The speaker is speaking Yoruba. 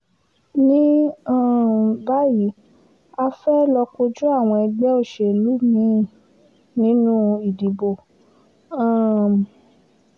ní um báyìí a fẹ́ẹ́ lọ́ọ́ kojú àwọn ẹgbẹ́ òṣèlú mí-ín nínú ìdìbò um